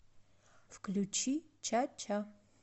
включи чача